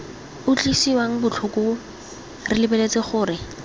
utlwisang botlhoko re lebeletse gore